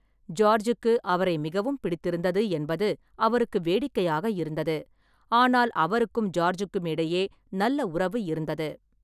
ஜார்ஜுக்கு அவரை மிகவும் பிடித்திருந்தது என்பது அவருக்கு வேடிக்கையாக இருந்தது, ஆனால் அவருக்கும் ஜார்ஜுக்கும் இடையே நல்ல உறவு இருந்தது.